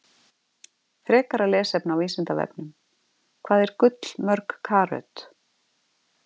Frekara lesefni á Vísindavefnum: Hvað er gull mörg karöt?